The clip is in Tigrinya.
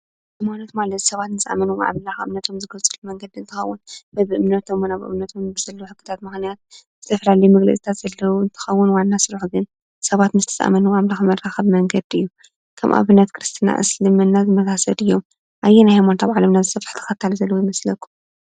ሃይማኖት ማለት ሰባት ምስ አመኑ እምነቶም ዝገልፅሉ መንገዲ እንትኸዉን በቢእምነቶምን ኣብ እምነቶምን ዝስራሕ ሕግታት ምክንያት ዝተፋላለየ መግለፅታት ዘለዎ እንትኸዉን ዋና ስርሑ ግን ሰባት ምስቲ ዝኣምንዎ ኣምላክ መራከቢ መንገዲ እዩ። ከም አብነት ክርስትና ፣ ኣስልምና ዝመሳስሉ እዮም። ኣየናይ ሃይማኖት ኣብ ዓለምና ዝስፍሐ ተከታሊ ዘለዎ ይመስለኩም?